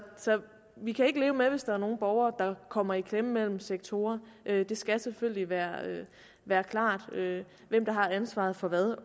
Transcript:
vi kan ikke leve med hvis der er nogle borgere der kommer i klemme mellem sektorer det skal selvfølgelig være være klart hvem der har ansvaret for hvad